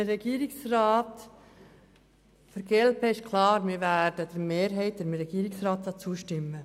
Die glp wird der Mehrheit und dem Regierungsrat klar zustimmen.